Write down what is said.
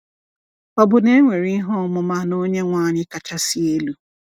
Ọ̀ bụ na e nwere ihe ọmụma n’Onyenwe anyị kachasị elu?